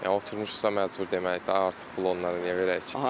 Yəni oturmuşuqsa məcbur deməkdir də, artıq pul onları niyə verək?